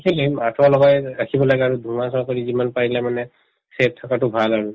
আঠুৱা লগাই ৰাখিব লাগে আৰু ধোৱা চোৱা কৰি যিমান পাৰিলে মানে save থকাতো ভাল আৰু